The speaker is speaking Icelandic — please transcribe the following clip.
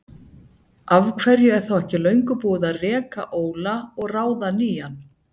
Af hverju er þá ekki löngu búið að reka Óla og ráða nýjan?